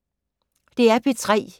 DR P3